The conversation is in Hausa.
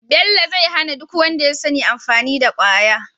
bello zai hana duk wanda yasani amfani da kwaya